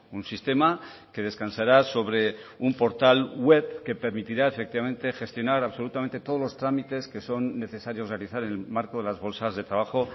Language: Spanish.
un sistema que descansará sobre un portal web que permitirá efectivamente gestionar absolutamente todos los trámites que son necesarios realizar en el marco de las bolsas de trabajo